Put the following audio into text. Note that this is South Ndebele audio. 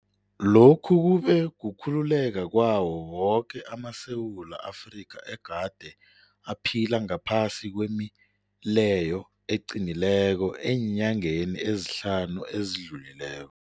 Lokhu kube kukhululeka kwawo woke amaSewula Afrika egade aphila ngaphasi kwemileyo eqinileko eenyangeni ezihlanu ezidlulileko.